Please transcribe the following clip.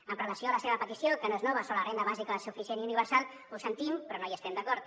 amb relació a la seva petició que no és nova sobre la renda bàsica suficient i universal ho sentim però no hi estem d’acord